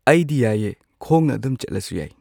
ꯑꯩꯗꯤ ꯌꯥꯏꯌꯦ ꯈꯣꯡꯅ ꯑꯗꯨꯝ ꯆꯠꯂꯁꯨ ꯌꯥꯏ꯫